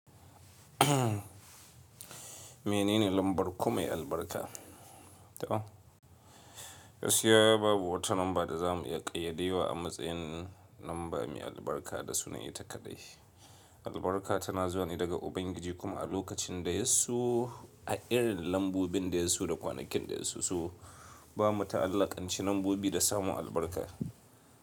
Menene lambar kumai albarka? To, gaskiya babu wata lamba da za mu iya ƙayyade wa a matsayin lamba mai albarka da suna ita kaɗai. Albarka tana zuwa ne daga Ubangiji kuma a lokacin da ya so, a irin lambobin da ya so da kwanakin da ya so. To bamu ta'allakanci lambobi da samun albarka.